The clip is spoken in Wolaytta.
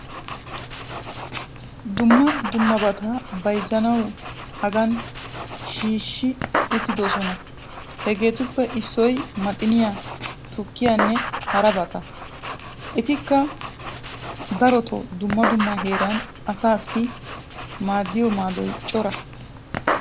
dumma dummabata bayzzanawu hagan shiishshi uttidosona. hageetuppe issoy maxxiniyaa, tukkiyanne harabata. etikka darotoo dumma dumma heeran asaassi maaddiyo maadoy cora.